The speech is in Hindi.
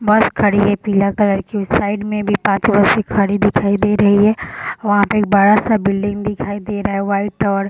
बस खड़ी है पीला कलर की उस साइड में भी पाँच बसें खड़ी दिखाई दे रही है वहाँ पे एक बड़ा-सा बिल्डिंग दिखाई दे रहा है वाइट और --